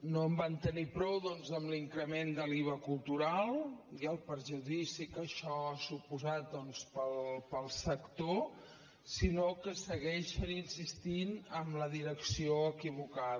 no en van tenir prou doncs amb l’increment de l’iva cultural i el perjudici que això ha suposat per al sector sinó que segueixen insistint en la direcció equivocada